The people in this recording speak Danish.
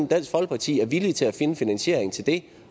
dansk folkeparti er villig til at finde finansieringen til det